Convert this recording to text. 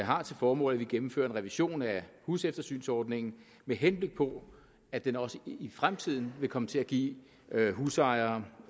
har til formål at vi gennemfører en revision af huseftersynsordningen med henblik på at den også i fremtiden vil komme til at give husejere